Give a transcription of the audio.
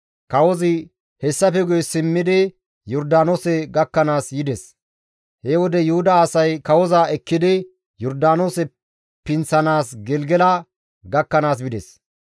Kawozi hessafe guye simmidi Yordaanoose gakkanaas yides. He wode Yuhuda asay kawoza ekkidi Yordaanoose pinththanaas Gelgela gakkanaas bides.